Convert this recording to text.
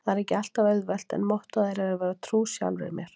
Það er ekki alltaf auðvelt- en mottóið er að vera trú sjálfri mér.